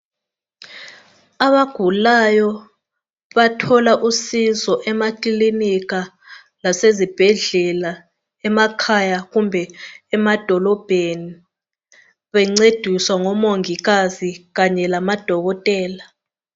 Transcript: Abagulayo bathola usizo emakilinika lasezibhedlela emakhaya kumbe emadolobheni bencediswa ngomongikazi kanye lamadokotela.